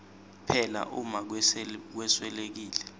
phela uma kweswelekile